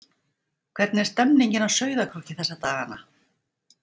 Hvernig er stemningin á Sauðárkróki þessa dagana?